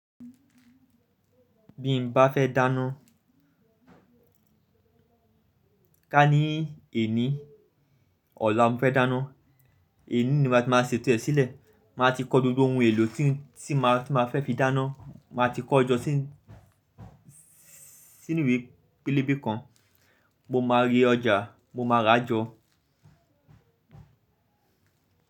Bí mo bá fẹ́ dáná, ká ní èní, ọ̀la mo fẹ́ dáná, èní ni má tí máa ṣe ẹ̀to ẹ́ sílẹ̀. Máa ti kọ gbogbo ohun èlò tí, tí máa, tí máa fẹ́ fi dáná. Máa ti kọ́ ọjọ́ sí, sínú ìwé pélébé kan. Mo máa re ọjà, mo máa ra jọ.